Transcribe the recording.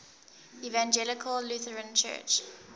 evangelical lutheran church